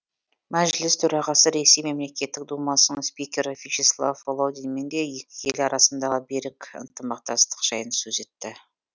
мәжіліс төрағасы ресей мемлекеттік думасының спикері вячеслав володинмен де екі ел арасындағы берік ынтымақтастық жайын сөз етті